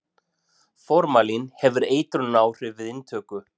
Formalín hefur eitrunaráhrif við inntöku.